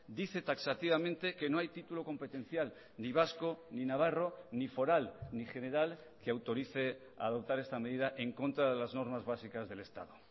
dice taxativamente que no hay título competencial ni vasco ni navarro ni foral ni general que autorice a adoptar esta medida en contra de las normas básicas del estado